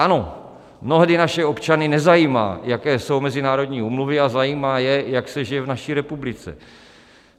Ano, mnohdy naše občany nezajímá, jaké jsou mezinárodní úmluvy, a zajímá je, jak se žije v naší republice.